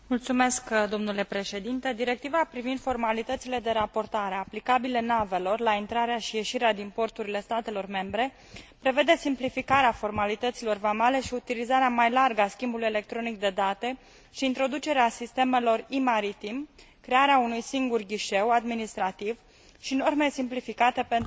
Directiva privind formalitățile de raportare aplicabile navelor la intrarea și ieșirea din porturile statelor membre prevede simplificarea formalităților vamale, utilizarea mai largă a schimbului electronic de date și introducerea sistemelor e maritim, crearea unui singur ghișeu administrativ și norme simplificate pentru mărfurile periculoase.